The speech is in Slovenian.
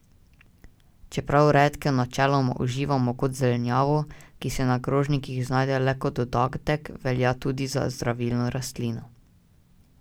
Čeprav redkev načeloma uživamo kot zelenjavo, ki se na krožnikih znajde le kot dodatek, velja tudi za zdravilno rastlino.